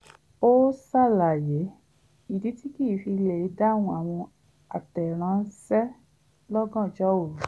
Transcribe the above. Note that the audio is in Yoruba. ó ṣàlàyé ìdí tí kìí fi lè dáhùn àwọn àtẹ̀ránṣẹ́ lọ́gàjnọ́ òru